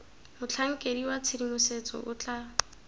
motlhankedi wa tshedimosetso o tla